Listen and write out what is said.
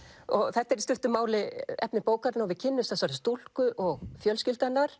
þetta er í stuttu máli efni bókarinnar og við kynnumst þessari stúlku og fjölskyldu hennar